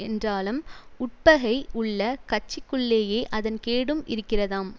என்றாலம் உட்பகை உள்ள கட்சிக்குள்ளேயே அதன் கேடும் இருக்கிறதாம்